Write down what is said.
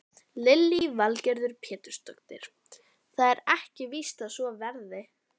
Hvernig var andrúmsloftið í mönnum í klefanum eftir leik?